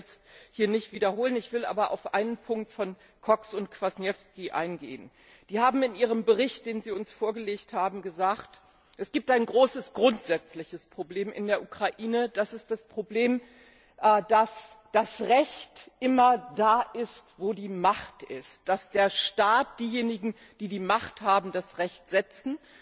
Ich will das jetzt hier nicht wiederholen, ich will aber auf einen Punkt von Cox und Kwasniewski eingehen, die in ihrem Bericht, den sie uns vorgelegt haben, gesagt haben, es gibt ein großes grundsätzliches Problem in der Ukraine, das ist das Problem, dass das Recht immer da ist, wo die Macht ist, dass der Staat, diejenigen, die die Macht haben, das Recht setzen.